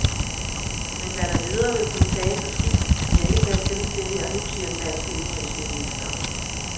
Men hvad der videre vil kunne tages af skidt, vil jeg ikke tage stilling til her og nu, siger den danske udenrigsminister.